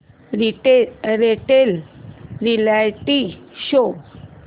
latest reality show